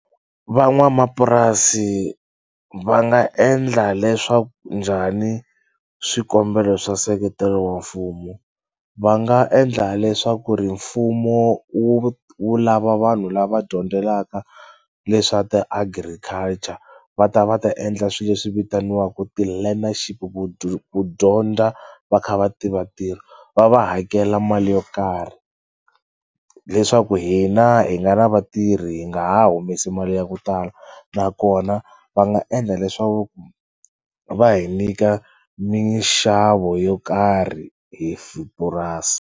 Van'wamapurasi va nga endla leswaku njhani swikombelo swa nseketelo wa mfumo? Va nga endla leswaku ri mfumo wu wu lava vanhu lava dyondzelaka leswa ti-agriculture va ta va ta endla swi leswi vitaniwaku ti-learnership ku dyondza va kha va tiva ntirho va va hakela mali yo karhi leswaku hina hi nga na vatirhi hi nga ha humesi mali ya ku tala nakona va nga endla leswaku va hi nyika minxavo yo karhi hi purasi.